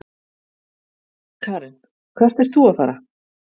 Karen: Hvert ert þú að fara?